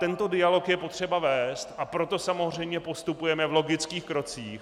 Tento dialog je potřeba vést, a proto samozřejmě postupujeme v logických krocích.